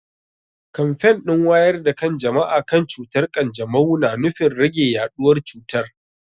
Kamfen din wayar da kan jama'a kan cutar kanjamau na nufin rage yaduwar cutar.